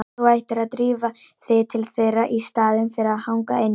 Þú ættir að drífa þig til þeirra í staðinn fyrir að hanga inni.